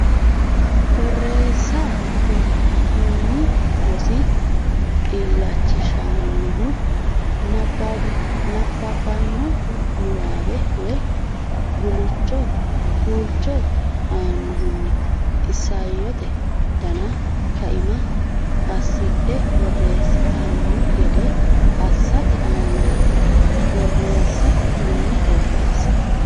Borreessa Kuni rosi illachishannohu nabbabbanno niwaawe woy guulcho annohunni isayyote dana kaima assidhe borreessitanno gede assate aanaati Borreessa Kuni Borreessa.